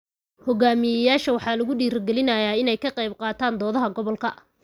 Hogaamiyayaasha waxaa lagu dhiirigelinayaa inay ka qaybqaataan doodaha gobolka.